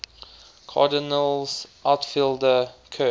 cardinals outfielder curt